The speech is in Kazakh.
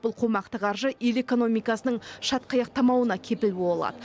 бұл қомақты қаржы ел экономикасының шатқаяқтамауына кепіл бола алады